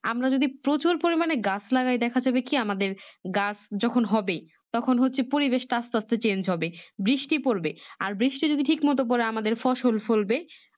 আমরা যদি প্রচুর পরিমানে গাছ লাগাই দেখা যাবে কি আমাদের গাছ যখন হবে তখন হচ্ছে পরিবেশটা আস্তে আস্তে Change হবে বৃষ্টি পড়বে আর বৃষ্টি যদি ঠিক মতো পরে আমাদের ফসল ফলবে